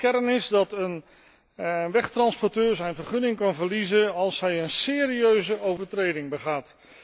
De kern is dat een wegtransporteur zijn vergunning kan verliezen als hij een serieuze overtreding begaat.